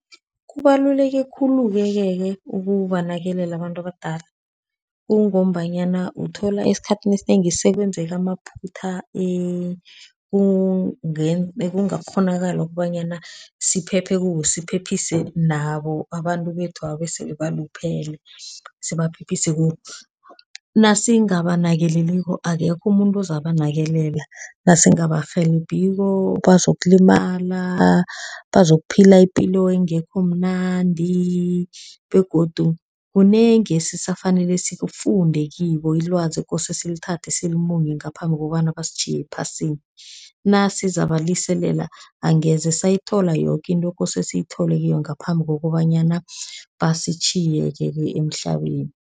Kubaluleke khulukeke-ke ukubanakelela abantu abadala, kungombanyana uthola esikhathini esinengi sekwenzeka amaphutha ekungakghonakala ukobanyana siphephe kiwo, siphephise nabo abantu bethwaba esele baluphele, sibaphephise. Nasingabanakeleliko akekho umuntu ozabanakelela, nasingabarhelebhiko bazokulimala, bazokuphila ipilo engekho mnandi, begodu kunengi esisafanele sikufunde kibo, ilwazi ekose silithathe silimunye ngaphambi kokobana basitjhiye ephasini. Nasizabaliselela, angeze sayithola yoke into ekose siyithole kibo ngaphambi kokobanyana basitjhiyeke-ke emhlabeni.